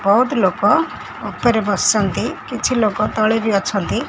ବହୁତ୍ ଲୋକ ଉପରେ ବସିଚନ୍ତି କିଛି ଲୋକ ତଳେ ବି ଅଛନ୍ତି।